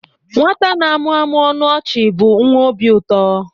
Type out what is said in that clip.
Nwata na-amụmụ ọnụ ọchị bụ nwa obi ụtọ.